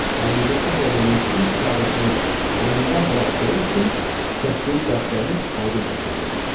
Həqiqi şah oğlunun öz səadətini əlindən buraxdığı üçün çəkdiyi dərd-qəmi aydın təsəvvür elədi.